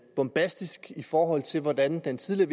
bombastisk i forhold til hvordan den tidligere